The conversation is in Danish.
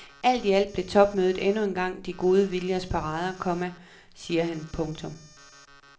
Alt i alt blev topmødet endnu engang de gode viljers parade, komma siger han. punktum